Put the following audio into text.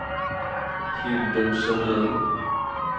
Hildur Sundin